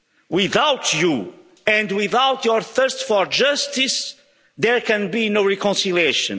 beings. Without you, and without your thirst for justice, there can be no reconciliation.